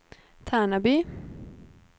Tärnaby